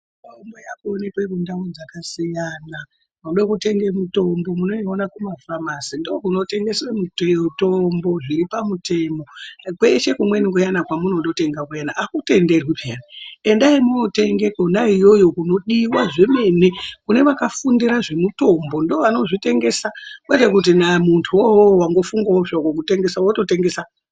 Kwemunobva kundau dzakasiyana kuti mweida kutenge mitombo, munoiona kumafamasi. Ndokuno tengweswa mitombo zviri pamutemo kweshe kumweni kuyani kwamunondotenga akutenderwi pheya. Endai mwootenga kwona iyoyo kunodiea zvemene kune vakafundira zvemitombo ndovanozvi tengesa kwete kuti muntuwo watofunga zvako kutengesa wototengesa.